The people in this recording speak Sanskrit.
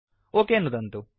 ओक नुदन्तु